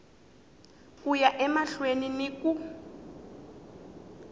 ku ya emahlweni ni ku